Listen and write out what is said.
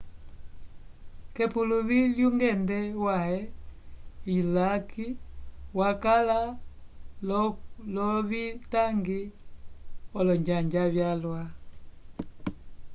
k'epuluvi lyungende wãhe iswaki wakala l'ovitangi olonjanja vyalwa